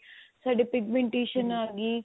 ਸਾਡੇ pigmentation ਆ ਗੀ